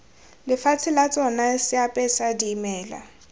lefatshe la tsona seapesa dimela